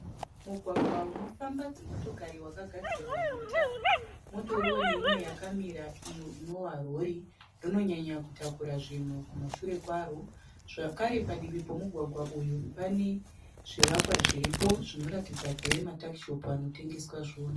Mugwagwa unofamba dzimotokari wakagadzirwa netara. Munotoriwo neimwe yakamira iyo inova rori. Rinonyanya kutakura zvinhu kumashure kwaro. Zvakare padivi pomugwagwa uyu pane zvivakwa zviripo zvinoratidza kuve matakishopu anotengesa zvinhu.